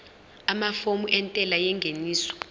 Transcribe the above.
amafomu entela yengeniso